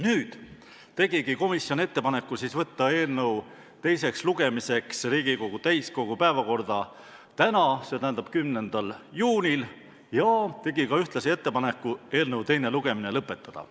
Nüüd tegigi komisjon ettepaneku võtta eelnõu teiseks lugemiseks Riigikogu täiskogu päevakorda tänaseks, st 10. juuniks, ja tegi ühtlasi ettepaneku eelnõu teine lugemine lõpetada.